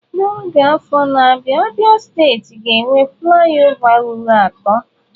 N'oge a n'afọ na-abịa Abia steeti ga-enwe flị ọva ruru atọ.